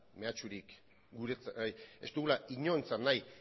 inorentzat nahi